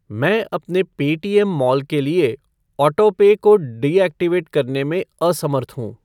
मैं अपने Paytm mall के लिए ऑटोपे को डीऐक्टिवेट करने में असमर्थ हूँ।